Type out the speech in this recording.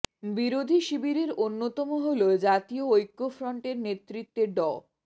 বিরোধী শিবিরের অন্যতম হল জাতীয় ঐক্যফ্রন্ট এর নেতৃত্বে ড